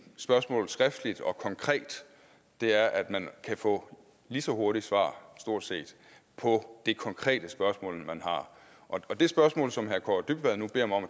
spørgsmål skriftligt og konkret er at man kan få lige så hurtigt svar stort set på det konkrete spørgsmål man har og det spørgsmål som herre kaare dybvad nu beder mig om